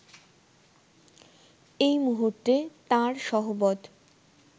এই মুহূর্তে তাঁর সহবৎ